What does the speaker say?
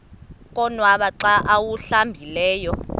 konwaba xa awuhlambileyo